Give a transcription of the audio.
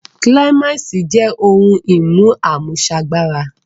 Kíláìmàsì jẹ́ ohun-ìmú àmúṣagbára